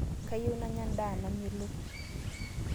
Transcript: Kayieu nanya ndaa namelok